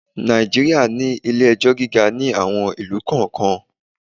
Nàìjíríà ní ilé-ẹjọ́ gíga ní àwon ìlú kọ̀ọ́kan.